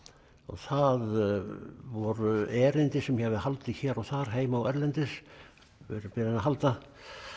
það voru erindi sem ég hafði haldið hér og þar heima og erlendis verið beðinn að halda